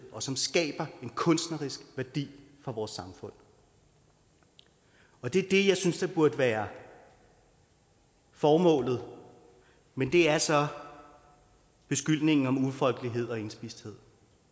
og som skaber en kunstnerisk værdi for vores samfund det er det jeg synes burde være formålet men det er så beskyldningen om ufolkelighed og indspisthed